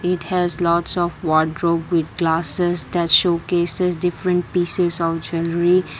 it has lots of wardrobe with glasses that show cases different pieces of jewellery